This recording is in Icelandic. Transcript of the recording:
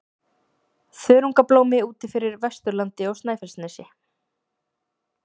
Þörungablómi úti fyrir Vesturlandi og Snæfellsnesi.